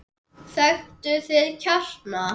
Þekktu þinn kjarna!